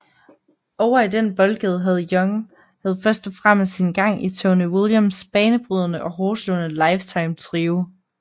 Ovre i den boldgade havde Young havde først og fremmest sin gang i Tony Williams banebrydende og hårdtslående Lifetime trio